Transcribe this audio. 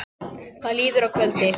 Það líður að kvöldi.